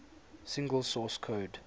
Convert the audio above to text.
single source code